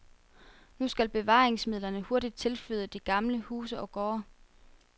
Nu skal bevaringsmidlerne hurtigt tilflyde de gamle huse og gårde.